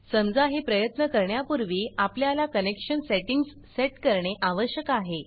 समजा हे प्रयत्न करण्यापूर्वी आपल्याला कनेक्शन सेटिंग्ज सेट करणे आवश्यक आहे